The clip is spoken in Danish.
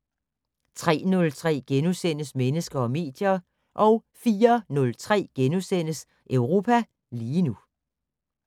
03:03: Mennesker og medier * 04:03: Europa lige nu *